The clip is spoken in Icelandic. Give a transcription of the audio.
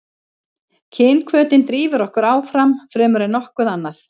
kynhvötin drífur okkur áfram fremur en nokkuð annað